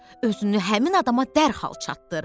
Özünü həmin adama dərhal çatdır.